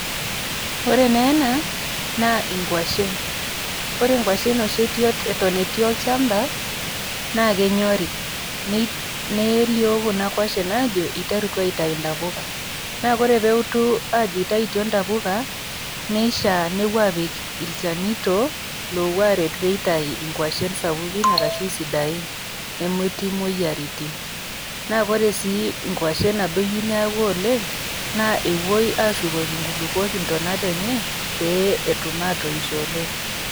ore naa ena naa inkuashen ore inkuashen oshi eton etii olchamba naa kenyori nelio kuna kuashen ajo iterutua aitayu intapuka naa kore peutu ajo itaitio intapuka neshia nepuo apik ilchanito lopuo aret pitayi inkuashen sapukin arashu isidain nemetii imoyiaritin naa kore sii inkuashen nabo eyieu neeku oleng naa epuoi ashukoki inkulupuok intonat enye pee etum atoisho oleng.